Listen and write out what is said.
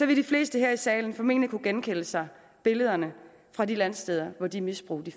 vil de fleste her i salen formentlig kunne genkalde sig billederne fra de landsteder hvor de misbrug